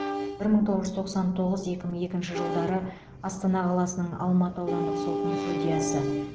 бір мың тоғыз жүз тоқсан тоғыз екі мың екінші жылдары астана қаласының алматы аудандық сотының судьясы